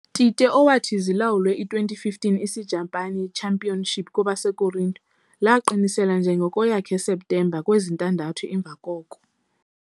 Tite, owathi zilawulwe i - 2015 Isijapani champion Kwabasekorinte, lwaqiniselwa njengoko yakhe septemba kwezintandathu emva koko.